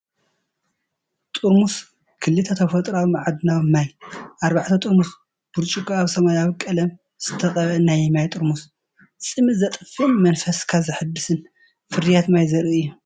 ጥርሙዝ ኩል ተፈጥሮኣዊ ማዕድናዊ ማይ፡ ኣርባዕተ ጥርሙዝ ብርጭቆ ኣብ ሰማያዊ ቀለም ዝተቐብአ ናይ ማይ ጥርሙዝ፡ ጽምኢ ዘጥፍእን መንፈስካ ዘሐድስን ፍርያት ማይ ዘርኢ እዩ።